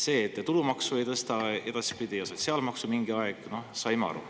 Sellest, et te tulumaksu ei tõsta edaspidi ja sotsiaalmaksu mingi aeg, saime aru.